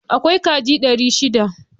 Akwai kaji dari shida.